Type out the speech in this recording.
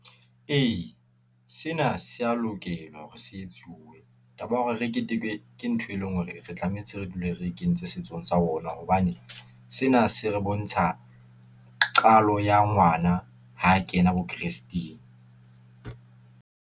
Ee, sena sea lokela hore se etsuwe. Taba ya hore re keteke ke ntho, e leng hore re tlametse re dule re e kentse setsong sa rona, hobane sena se re bontsha qalo ya ngwana ha kena bo kresteng.